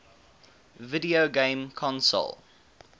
video game console